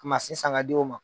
Mansi san k'a di o ma.